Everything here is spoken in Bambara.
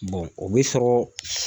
o be sɔrɔ